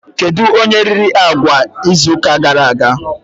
Kedụ onye riri agwa izu ụka gara aga?